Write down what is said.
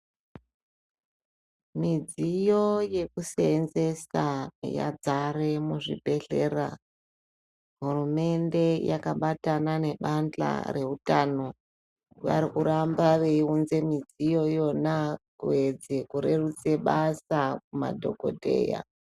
Midziyo yekusenzesa yazare muzvibhedhlera hurumende yakabatano nebato reutano varikuramba veiunze midziyo iyona kuyedza kurerutsa basa kumadhokodheya .